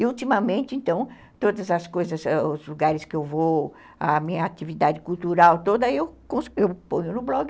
E ultimamente, então, todas as coisas, os lugares que eu vou, a minha atividade cultural toda, eu ponho no blog.